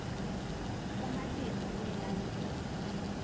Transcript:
kumatima kuyilandzela